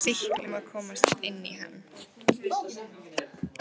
sýklum að komast inn í hann.